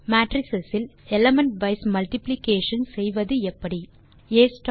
matrix இல் element wise multiplication செய்வதெப்படி எனில்